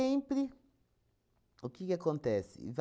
o que que acontece?